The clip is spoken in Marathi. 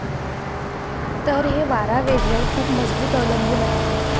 तर, हे वारा वेग वर खूप मजबूत अवलंबून आहे.